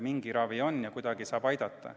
Mingi ravi ikka on ja kuidagi saab ikka aidata.